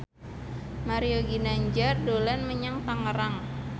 Mario Ginanjar dolan menyang Tangerang